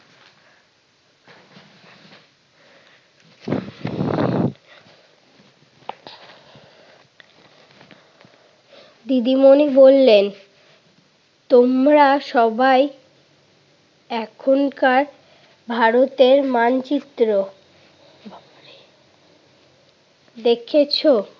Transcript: দিদিমণি বললেন, তোমরা সবাই এখনকার ভারতের মানচিত্র দেখেছো?